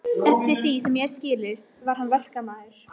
Eftir því sem mér hafði skilist var hann verkamaður.